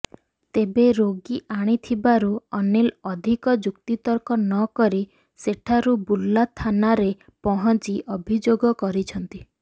ତେବେ ରୋଗୀ ଆଣିଥିବାରୁ ଅନିଲ ଅଧିକ ଯୁକ୍ତିତର୍କ ନ କରି ସେଠାରୁ ବୁର୍ଲା ଥାନାରେ ପହଞ୍ଚି ଅଭିଯୋଗ କରିଛନ୍ତି